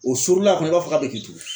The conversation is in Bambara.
O suurula a kɔnɔ i b'a fɔ k'a bɛ k'i tugun.